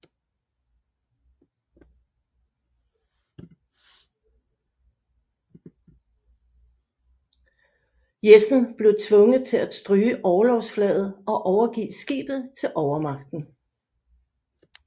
Jessen blev tvunget til at stryge orlogsflaget og overgive skibet til overmagten